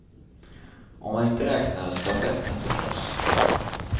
Om man inte räknar stafetten, förstås.